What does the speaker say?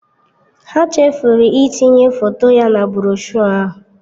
Ha chefuru itinye foto ya na broshuọ ahụ.